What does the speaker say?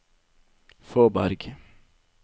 Fåberg